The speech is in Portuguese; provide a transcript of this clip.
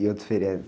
E outro feriado?